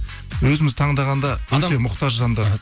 өзіміз таңдағанда мұқтаж жандар